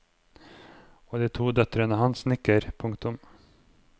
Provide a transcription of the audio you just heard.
Og de to døtrene hans nikker. punktum